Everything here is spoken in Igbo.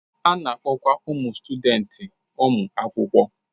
A na-akpọkwa ụmụ sutudenti ụmụ akwụkwọ.